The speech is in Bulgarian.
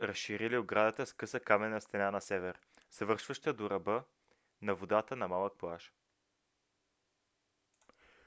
разширили оградата с къса каменна стена на север завършваща до ръба на водата на малък плаж